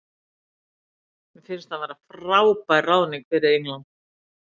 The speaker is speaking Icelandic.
Mér finnst hann vera frábær ráðning fyrir England.